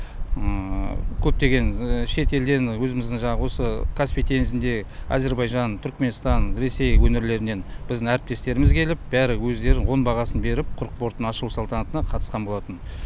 көптеген шетелден өзіміздің жаңағы осы каспий теңізінде әзербайжан түрікменстан ресей өңірлерінен біздің әріптестеріміз келіп бәрі өздерінің оң бағасын беріп құрық портының ашылу салтанатына қатысқан болатын